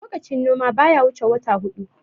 lokacin noma baya wuce wata hudu